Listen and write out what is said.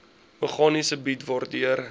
meganisme bied waardeur